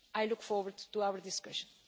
I look forward to our discussion.